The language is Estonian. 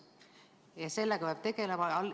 Ja sellega peab tegelema.